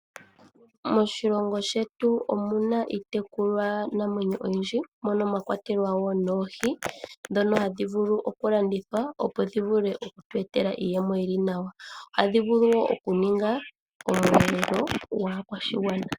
Moshilongo shetu omu na iitekulwanamwenyo oyindji mono mwa kwatelwa noohi ndhoka hadhi vulu okulandithwa, opo dhi vule okutu etela iiyemo yi li nawa. Ohadhi vulu wo okuninga omweelelo gwaakwashigwana.